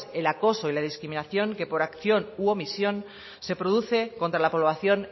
el acoso y la discriminación que por acción u omisión se produce contra la población